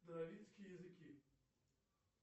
языки